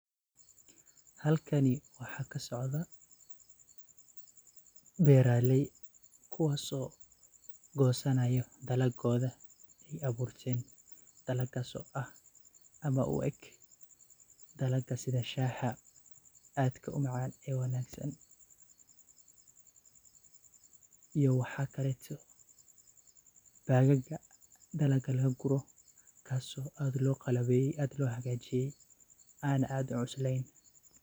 Halkani waxa kasocdah coothat, beeraley kuwas oo kusanayo bilakotha iyo abuurtan taaso aah amah u eeg balaka setha shaha aatka u macan ee iyo waxakaleeto bagaka dalka lagakuroh kasoo aad loqalabeeye iyado lohakajiye ana aad u cusleeyn .